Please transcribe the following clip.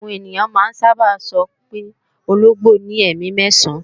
Àwọn ènìyàn máa ń sábà sọ wí pé ológbò ní ẹ̀mí mẹ́ẹ̀sán